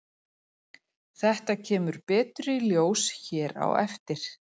Þetta kemur betur í ljós hér á eftir.